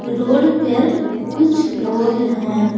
Road पर कुछ लोग हैं।